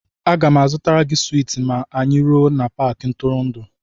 A ga m azụtara gị swiiti ma anyị ruo n'Paakị ntụrụndụ